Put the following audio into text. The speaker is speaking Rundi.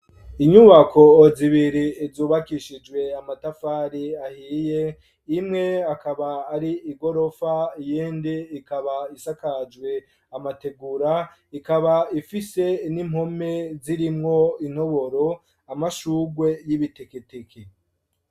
Inyubako zibiri, zubakishijwe amatafari, ahiye; imwe akaba ari igorofa, iyindi ikaba, isakajwe amategura, ikaba ifise n'impome, zirimwo intoboro, amashurwe y'ibiteketeke.